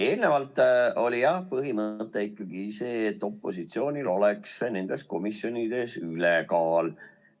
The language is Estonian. Eelnevalt oli jah põhimõte selline, et opositsioonil oleks nendes komisjonides ülekaal.